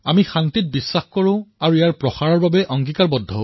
আমি শান্তিত বিশ্বাসী আৰু ইয়াক উৎসাহ প্ৰদান কৰাৰ বাবে প্ৰতিশ্ৰুতিবদ্ধ